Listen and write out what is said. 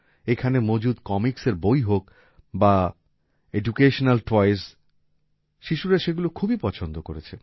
এখানে মজুত comicsএর বই হোক বা এডুকেশনাল টয়েস শিশুরা সেগুলো খুবই পছন্দ করেছে